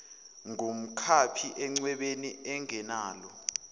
ngumkhaphi encwebeni engenalo